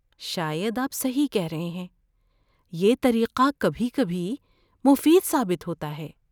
شاید آپ صحیح کہہ رہے ہیں۔ یہ طریقہ کبھی کبھی مفید ثابت ہوتا ہے۔